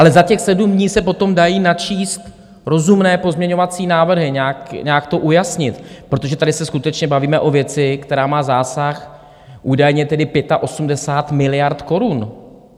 Ale za těch 7 dní se potom dají načíst rozumné pozměňovací návrhy, nějak to ujasnit, protože tady se skutečně bavíme o věci, která má zásah údajně tedy 85 miliard korun.